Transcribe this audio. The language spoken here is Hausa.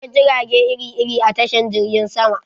Akwai jirage iri-iri a tashan jirgin sama